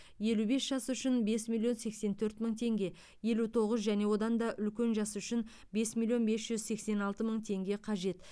елу бес жас үшін бес миллион сексен төрт мың теңге елу тоғыз және одан да үлкен жас үшін бес миллион бес жүз сексен алты мың теңге қажет